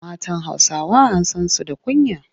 Matan Hausawa an san su da kunya.